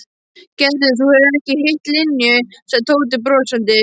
Gerður, þú hefur ekki hitt Linju sagði Tóti brosandi.